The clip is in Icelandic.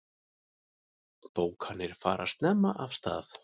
Bókanir fara snemma af stað.